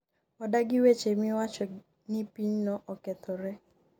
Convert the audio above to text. odagi weche miwacho ni pinyno okethore